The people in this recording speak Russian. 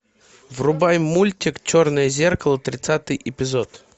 врубай мультик черное зеркало тридцатый эпизод